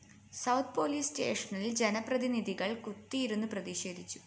south police സ്‌റ്റേഷനില്‍ ജനപ്രതിനിധികള്‍ കുത്തിയിരുന്നു പ്രതിഷേധിച്ചു